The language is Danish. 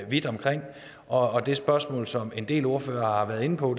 vidt omkring og det spørgsmål som en del ordførere har været inde på